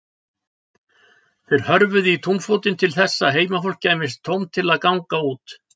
Þeir hörfuðu í túnfótinn til þess að heimafólki gæfist tóm til þess að ganga út.